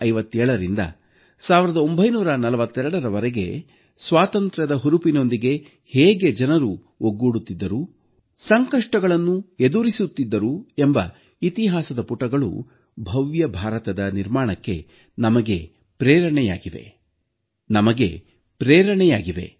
1857ರಿಂದ 1942ರವರೆಗೆ ಸ್ವಾತಂತ್ರ್ಯದ ಹುರುಪಿನೊಂದಿಗೆ ಹೇಗೆ ಜನರು ಒಗ್ಗೂಡುತ್ತಿದ್ದರು ಸಂಕಷ್ಟಗಳನ್ನು ಎದುರಿಸುತ್ತಿದ್ದರು ಎಂಬ ಇತಿಹಾಸದ ಪುಟಗಳು ಭವ್ಯ ಭಾರತದ ನಿರ್ಮಾಣಕ್ಕೆ ನಮಗೆ ಪ್ರೇರಣೆಯಾಗಿವೆ